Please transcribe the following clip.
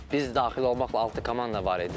Biz daxil olmaqla altı komanda var idi.